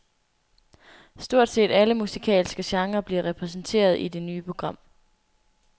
Stort set alle musikalske genrer bliver repræsenteret i det nye program.